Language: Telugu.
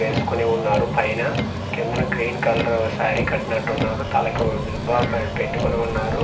వేసుకొని ఉన్నారు పైన కిందన గ్రీన్ కలర్ శారీ కట్టినటు ఉన్నారు తలకు జుబాబ్ పెట్టికొని ఉన్నారు